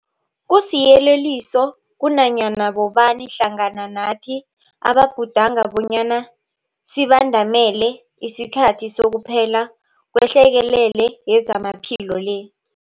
Kusiyeleliso kunanyana bobani hlangana nathi ababhudanga bonyana sibandamele isikhathi sokuphela kwehlekelele yezamaphilo le.